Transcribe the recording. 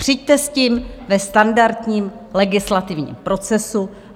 Přijďte s tím ve standardním legislativním procesu.